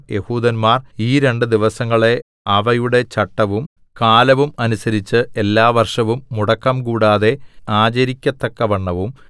യെഹൂദന്മാർ ഈ രണ്ട് ദിവസങ്ങളെ അവയുടെ ചട്ടവും കാലവും അനുസരിച്ചു എല്ലാ വർഷവും മുടക്കംകൂടാതെ ആചരിക്കത്തക്കവണ്ണവും